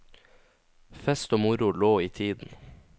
Fest og moro lå i tiden.